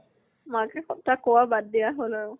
মাকে কথা কোৱা বাদ দিয়া হল আৰু।